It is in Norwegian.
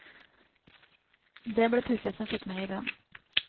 Det ble puffet som fikk meg i gang.